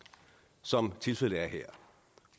som tilfældet er her